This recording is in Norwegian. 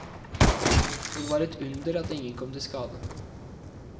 Og det var et under at ingen kom til skade.